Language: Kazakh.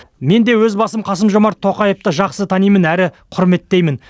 мен де өз басым қасым жомарт тоқаевты жақсы танимын әрі құрметтеймін